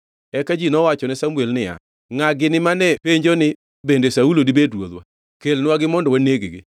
Eka ji nowachone Samuel niya, “Ngʼa gini mane penjo ni, ‘Bende Saulo dibed ruodhwa?’ Kelnwagi mondo waneg-gi.”